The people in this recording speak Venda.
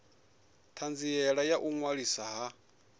thanziela ya u ṅwaliswa ha